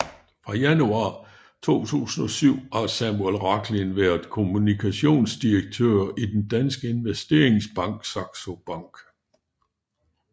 Fra januar 2007 har Samuel Rachlin været kommunikationsdirektør i den danske investeringsbank Saxo Bank